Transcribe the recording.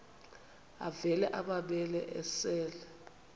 avela amabele esel